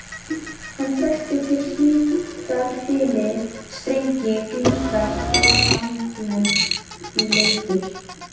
Hann þekkti til hlítar hyli, strengi, grynningar og sandbleytur.